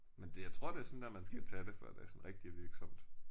Men det jeg tror det er sådan der man skal tage det før det sådan rigtig er virksomt